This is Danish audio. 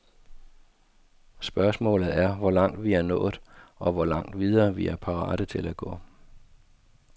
Spørgsmålet er, hvor langt vi er nået, og hvor langt videre vi er parate til at gå.